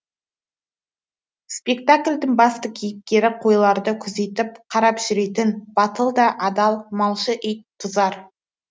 спектаклдің басты кейіпкері қойларды күзетіп қарап жүретін батыл да адал малшы ит тұзар